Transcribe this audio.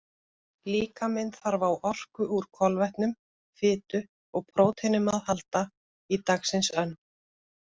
Líkaminn þarf á orku úr kolvetnum, fitu og próteinum að halda í dagsins önn.